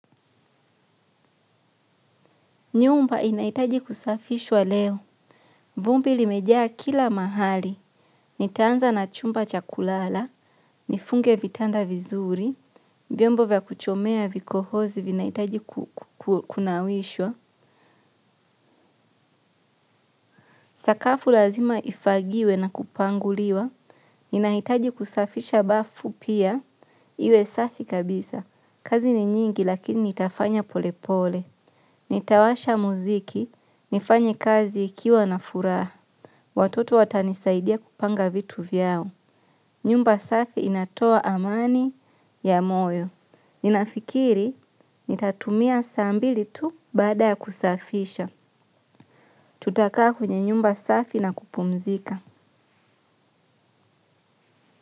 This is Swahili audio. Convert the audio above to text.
Nyumba inahitaji kusafishwa leo. Vumbi limejaa kila mahali. Nitaanza na chumba cha kulala. Nifunge vitanda vizuri. Vyombo vya kuchomea vikohozi vinahitaji kunawishwa. Sakafu lazima ifagiwe na kupanguliwa. Ninahitaji kusafisha bafu pia. Iwe safi kabisa. Kazi ni nyingi lakini nitafanya polepole. Nitawasha muziki. Nifanye kazi ikiwa na furaha. Watoto watanisaidia kupanga vitu vyao. Nyumba safi inatoa amani ya moyo. Ninafikiri nitatumia saa mbili tu baada ya kusafisha. Tutakaa kwenye nyumba safi na kupumzika.